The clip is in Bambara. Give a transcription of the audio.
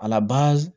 A laba